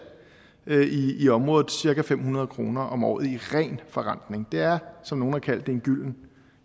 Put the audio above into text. i området af cirka fem hundrede kroner om året i ren forrentning det er som nogle har kaldt det en